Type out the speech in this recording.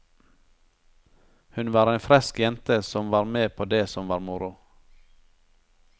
Hun var en fresk jente som var med på det som var moro.